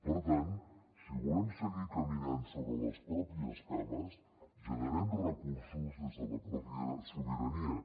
per tant si volem seguir caminant sobre les pròpies cames generem recursos des de la mateixa sobirania